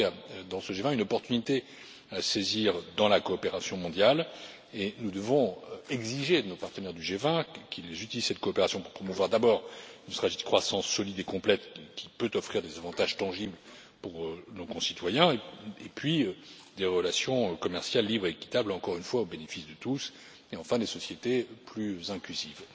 Je crois qu'il y a, dans ce G20, une opportunité à saisir dans la coopération mondiale et nous devons exiger de nos partenaires du G20 qu'ils utilisent cette coopération pour promouvoir d'abord ne serait ce qu'une croissance solide et complète qui peut offrir des avantages tangibles pour nos concitoyens, et puis des relations commerciales libres et équitables, encore une fois au bénéfice de tous, et enfin des sociétés plus inclusives.